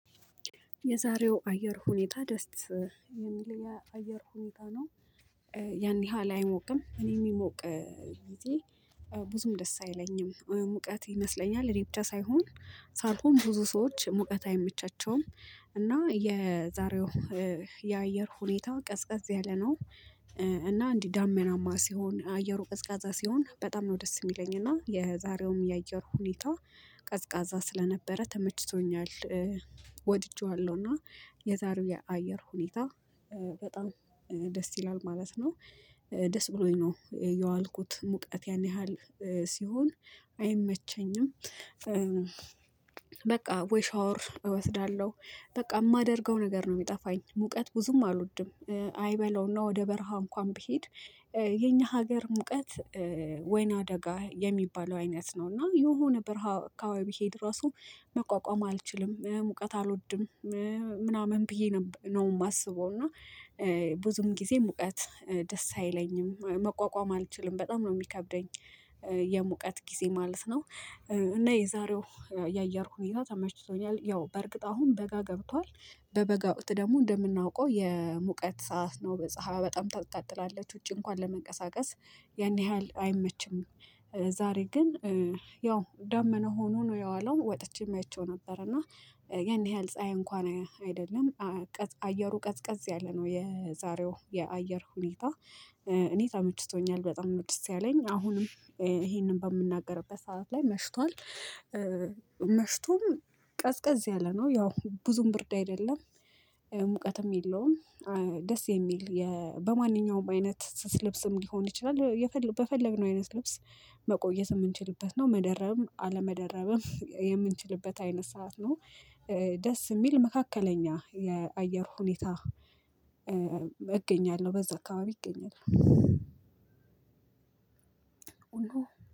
የዛሬው አየር ሁኔታ ደስ የሚል የአየር ሁኔታ ነው። ያን ያህል አይሞቅም እኔ የሚሞቅ ጊዜ ብዙም ደስ አይለኝም ሙቀት ይመስለኛል እኔ ብቻ ሳይሆን ሳልኩም ብዙ ሰዎች ሙቀት አይመቻቸውም። እና የዛሬው የአየር ሁኔታ ቀዝቃዛ ያለ ነው። እና እንዲህ ዳመናማ ሲሆን አየሩ ቀዝቃዛ ሲሆን በጣም ነው ደስ የሚለኝ እና የዛሬውም የአየር ሁኔታ ቀዝቃዛ ስለነበረ ተመችቶኛል። ወድጄዋለሁ እና የዛሬው የአየር ሁኔታ በጣም ደስ ይላል ማለት ነው። ደስ ብሎኝ ነው የዋልኩት ሙቀት ያን ያህል ሲሆን አይመቸኝም። በቃ ወይ ሻወር እወስዳለሁ በቃ የማደርገው ነገር ነው የሚጠፋኝ ሙቀት ብዙም አልወድም አይበለውና ወደ በረሃ እንኳን ብሄድ። የኛ ሀገር ሙቀት ወይና አደጋ የሚባለው አይነት ነው እና የሆነ በርሀማ ቢሄድ ራሱ መቋቋም አልችልም ሙቀት አልወድም። ምናምን ብዬ ነው የማስበው። እና ብዙም ጊዜ ሙቀት ደስ አይለኝም መቋቋም አልችልም በጣም ነው የሚከብደኝ። የሙቀት ጊዜ ማለት ነው። እና የዛሬው የአየር ሁኔታ ተመችቶኛል ያው በእርግጥ አሁን በጋ ገብቷል። በበጋ ውስጥ ደግሞ እንደምናውቀው የሙቀት ሰዓት ነው በፀሀይ በጣም ታታጥላለች ውጪ እንኳን ለመንቀሳቀስ ያን ያህል አይመችም። ዛሬ ግን ያው ደመና ሆኖ ነው የዋለው ወጥቼም አይቼው ነበር። እና ያን ያህል ፀሀይ እንኳን አይደለም። አየሩ ቀዝቀዝ ያለ ነው የዛሬው የአየር ሁኔታ እኔ ተመችቶኛል በጣም ደስ ያለኝ አሁንም ይሄንን በምናገርበት ሰዓት ላይ መሽቷል። መሽቶም ቀዝቀዝ ያለ ነው ያው ብዙም ብርድ አይደለም። ሙቀትም የለውም። ደስ የሚል በማንኛውም አይነት ልብስም ሊሆን ይችላል በፈለግነው አይነት ልብስ መቆየት የምንችልበት ነው። መደረብም አለመደረብም የምንችልበት አይነት ሰዓት ነው። ደስ የሚል መካከለኛ የአየር ሁኔታ። አገኛለሁ በዛ አካባቢ ይገኛል ኡሎ።